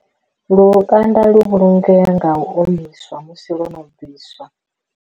Lukanda lu vhulungea nga u omiswa musi ḽo no bviswa.